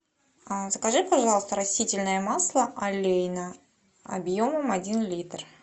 закажи пожалуйста растительное масло олейна объемом один литр